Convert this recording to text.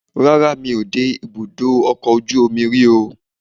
rara, mí o de ibudọ ọkọ ojú omí rí o